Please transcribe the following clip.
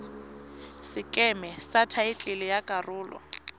sekeme sa thaetlele ya karolo